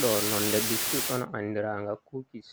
Ɗo nonde biskid on andiranga kukis,